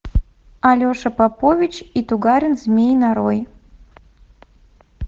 алеша попович и тугарин змей нарой